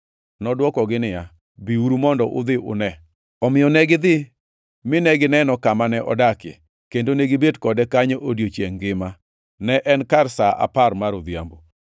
Nodwokogi niya, “Biuru mondo udhi une.” Omiyo negidhi mine gineno kama ne odakie, kendo negibet kode kanyo odiechiengʼ ngima. Ne en kar sa apar mar odhiambo.